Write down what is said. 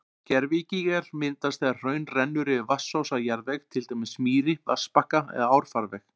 Gervigígar myndast þegar hraun rennur yfir vatnsósa jarðveg, til dæmis mýri, vatnsbakka eða árfarveg.